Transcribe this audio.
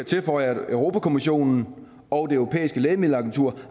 tilføje at europa kommissionen og det europæiske lægemiddelagentur